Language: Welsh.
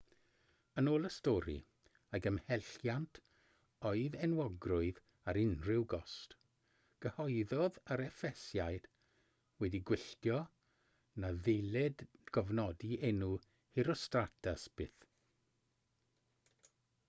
yn ôl y stori ei gymhelliant oedd enwogrwydd ar unrhyw gost cyhoeddodd yr effesiaid wedi gwylltio na ddylid cofnodi enw herostratus byth